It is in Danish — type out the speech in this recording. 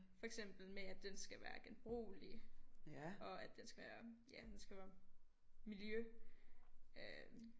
For eksempel med at den skal være genbrugelig og at den skal være ja den skal være miljø øh